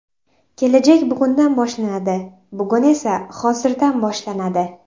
Kelajak bugundan boshlanadi, bugun esa hozirdan boshlanadi.